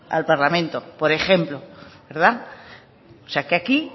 al parlamento por ejemplo verdad o sea que aquí